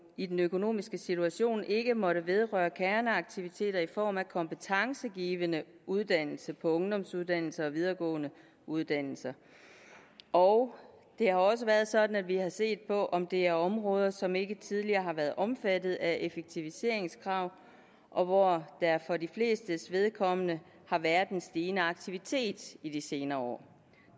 i den økonomiske situation ikke måtte vedrøre kerneaktiviteter i form af kompetencegivende uddannelse på ungdomsuddannelser og videregående uddannelser og det har også været sådan at vi har set på om det er områder som ikke tidligere har været omfattet af effektiviseringskrav og hvor der for de flestes vedkommende har været en stigende aktivitet i de senere år